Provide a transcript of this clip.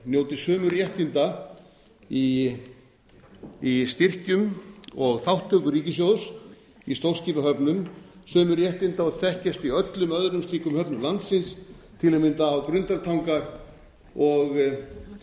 njóti sömu réttinda í styrkjum og þátttöku ríkissjóðs í stórskipahöfnum sömu réttinda og þekkist í öllum öðrum slíkum höfnum landsins til að mynda á grundartanga og